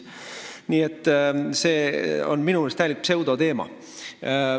Nii et see on minu meelest täielik pseudoteema.